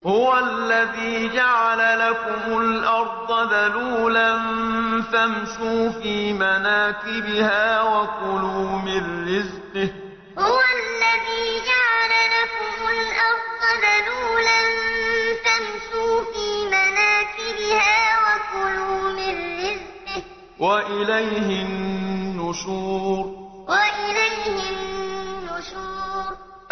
هُوَ الَّذِي جَعَلَ لَكُمُ الْأَرْضَ ذَلُولًا فَامْشُوا فِي مَنَاكِبِهَا وَكُلُوا مِن رِّزْقِهِ ۖ وَإِلَيْهِ النُّشُورُ هُوَ الَّذِي جَعَلَ لَكُمُ الْأَرْضَ ذَلُولًا فَامْشُوا فِي مَنَاكِبِهَا وَكُلُوا مِن رِّزْقِهِ ۖ وَإِلَيْهِ النُّشُورُ